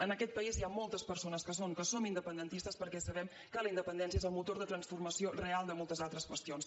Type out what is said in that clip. en aquest país hi ha moltes persones que són que som independentistes perquè sabem que la independència és el motor de transformació real de moltes altres qüestions